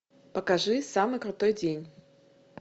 покажи самый крутой день